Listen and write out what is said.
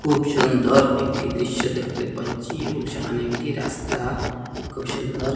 খুব সুন্দর একটি দৃশ্য দেখতে পাচ্ছি এবং সেখানে একটি রাস্তা খুব সুন্দর।